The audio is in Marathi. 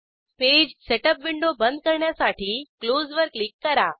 पेज सेटअप विंडो बंद करण्यासाठी क्लोज वर क्लिक करा